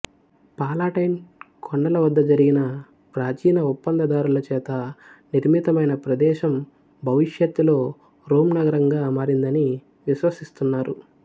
Palatine కొండల వద్ద జరిగిన ప్రాచీన ఒప్పందదారుల చేత నిర్మితమైన ప్రదేశం భవిష్యత్తులో రోమ్ నగరంగా మారిందని విశ్వసిస్తున్నారు